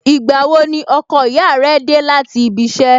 Ìgbà wo ni ọkọ ìyá rẹ dé láti ibi iṣẹ́?